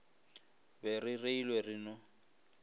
be re reilwe re no